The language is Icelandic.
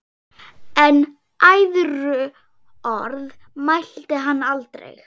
En æðruorð mælti hann aldrei.